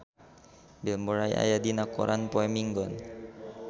Bill Murray aya dina koran poe Minggon